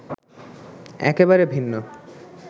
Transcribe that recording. একেবারে ভিন্ন।